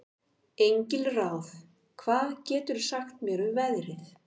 Engilráð, hvað geturðu sagt mér um veðrið?